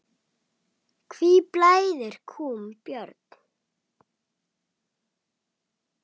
Hví blæðir kúm, Björn?